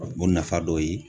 O nafa dɔ ye